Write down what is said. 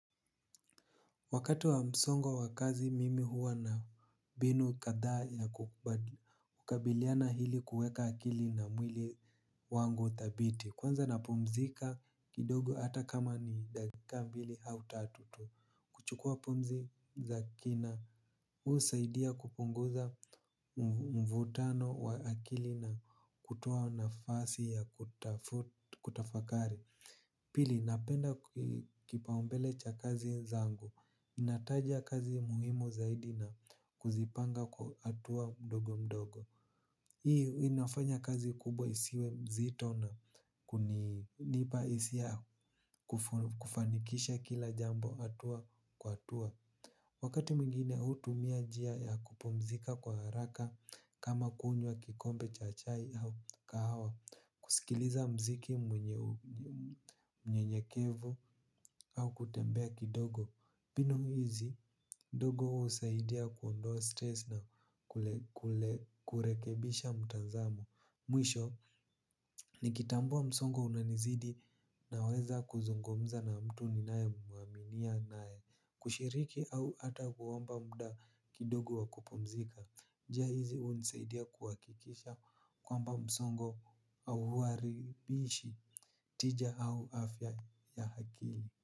Wakati wa msongo wa kazi mimi huwa na mbinu kadhaa ya kukabiliana ili kuweka akili na mwili wangu thabiti kwanza napumzika kidogo hata kama ni dakika mbili au tatu tu kuchukua pumzi za kina husaidia kupunguza mvutano wa akili na kutoa nafasi ya kutafakari. Pili napenda kipaumbele cha kazi zangu, ninataja kazi muhimu zaidi na kuzipanga kwa hatua mdogo mdogo. Hii inafanya kazi kubwa isiwe mzito na kunipa hisia ya kufanikisha kila jambo hatua kwa hatua. Wakati mwingine hutumia njia ya kupumzika kwa haraka kama kunywa kikombe cha chai au kahawa kusikiliza mziki mnyenyekevu au kutembea kidogo mbinu hizi, ndogo husaidia kuondoa stress na kurekebisha mtazamo. Mwisho, nikitambua msongo unanizidi naweza kuzungumza na mtu ninayemuaminia naye kushiriki au hata kuomba muda kidogo wa kupumzika. Njia hizi hunisaidia kuhakikisha kwamba msongo hauwaribishi tija au afya ya akili.